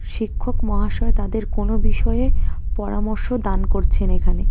শিক্ষক মহাশয় তাদের কোন বিষয়ে পরামর্শ দান করছেন এখানে.